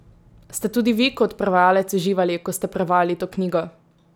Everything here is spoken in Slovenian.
Ste tudi vi kot prevajalec uživali, ko ste prevajali to knjigo?